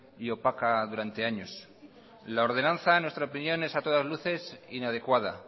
y opaca durante años la ordenanza en nuestra opinión es a todas luces inadecuada